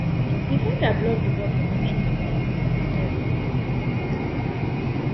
defender block di ball from entering di net net